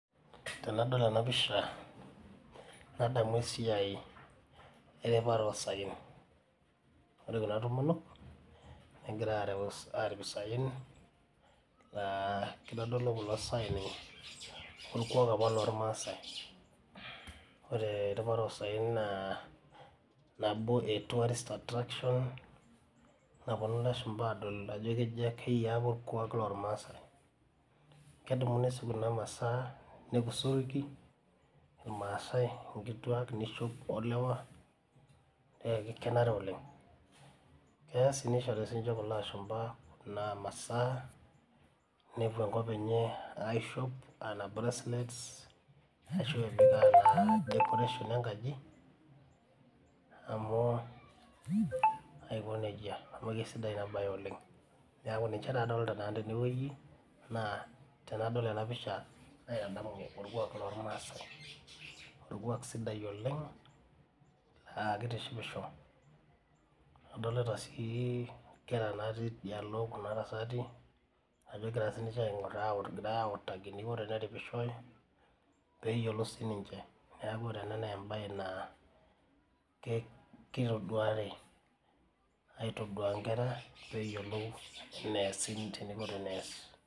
Tenadol enapisha nadamu esiai wripata osaen ore kuna tomonok negira arip isaen kitadolu kuna saen orkuak lormaasai ore kuna saen na nabo e tourist attraction naponu lashumba adol ajo keyia orkuak lormaasai kedumu si nishopi inkituak, ilewa kenare oleng keya oshi nishori sinche kulo ashumba nepuo naa nkop enye aishop anaa bracelet nishori enkaji amu aiko nejia amu kesidai inabae oleng neaku tanadol enapisha naitadamu orkuak sidai lormaasai orkuak sidai oleng na kitishipisho adolita si nkera natii tidialo kuna tasati peyiolou sininye kitoduari aitodua nkera peingoru eneas.